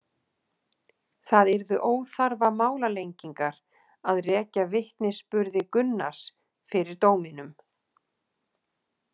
Það yrðu óþarfa málalengingar að rekja vitnisburði Gunnars fyrir dóminum.